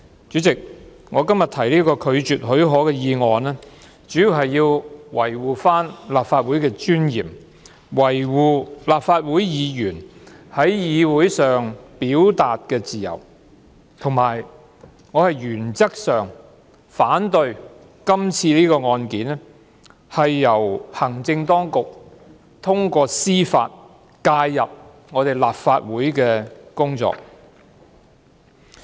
主席，我今天提出拒絕給予許可的議案，主要是維護立法會的尊嚴，維護立法會議員在議會上的表達自由，以及我是原則上反對行政當局在這宗案件，通過司法程序介入立法會的工作。